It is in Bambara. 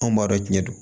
Anw b'a dɔn jiɲɛ don